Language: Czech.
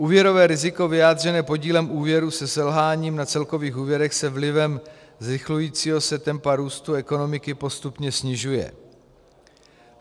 Úvěrové riziko vyjádřené podílem úvěru se selháním na celkových úvěrech se vlivem zrychlujícího se tempa růstu ekonomiky postupně snižuje.